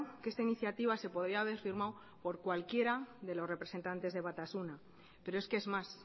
que esta iniciativa se podía haber firmado por cualquiera de los representantes de batasuna pero es que es más